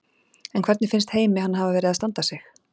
En hvernig finnst Heimi hann hafa verið að standa sig?